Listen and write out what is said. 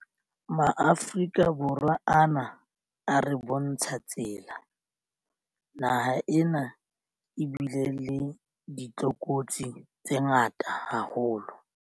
MaAforika Borwa ana a re bontsha tsela. Naha ena ebile le ditlokotsi tse ngata haholo.